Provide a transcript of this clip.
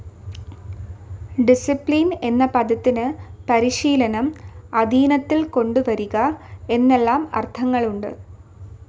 Discipline എന്ന പദത്തിനു പരിശീലനം, അധീനത്തിൽ കൊണ്ടുവരിക എന്നെല്ലാം അർത്ഥങ്ങളുണ്ട്.